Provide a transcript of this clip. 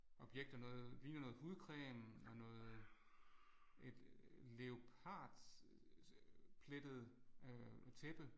Objekter noget ligner noget hudcreme og noget et leopardplettet øh tæppe